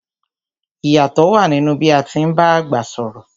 I yátọ̀ wa nínú bí a ti ń bá àgbà sọ̀rọ̀